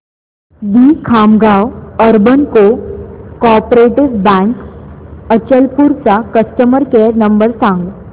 दि Khamgaon urban cooperative bank Achalpur चा customer care number सांग